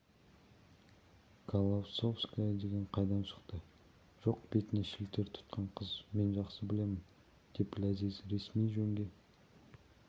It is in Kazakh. колосовская деген қайдан шықты жоқ бетіне шілтер тұтқан қыз мен жақсы білемін деп ләзиз ресми жөнге